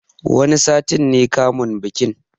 Wani sati ne kamun bikin